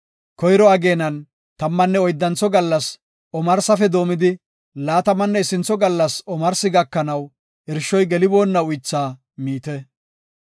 Koyro ageenan, tammanne oyddantho gallas omarsafe doomidi, laatamanne issintho gallas omarsi gakanaw irshoy geliboonna uythaa miite.